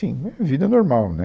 Sim, é, vida normal, né